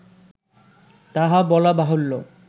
তাহা বলা বাহুল্য